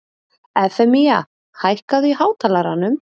Evfemía, hækkaðu í hátalaranum.